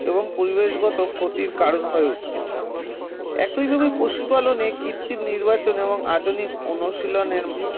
এবং পরিবেশগত ক্ষতির কারণ হয়ে উঠছে একইভাবে পশুপালনে কৃত্রিম নির্বাচনেও আধুনিক অনুশীলনের